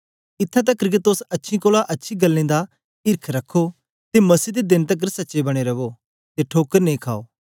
इत्थैं तकर के तोस अच्छी कोलां अच्छी गल्लें दा ईर्ख रखो ते मसीह दे देन तकर सच्चे बने रवो ते ठोकर नेई खाओ